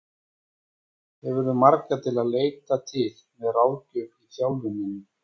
Hefurðu marga til að leita til með ráðgjöf í þjálfuninni?